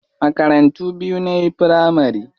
Makarantu biyu nayi firamari.